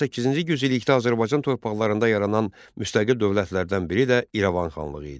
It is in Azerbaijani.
18-ci yüz illikdə Azərbaycan torpaqlarında yaranan müstəqil dövlətlərdən biri də İrəvan xanlığı idi.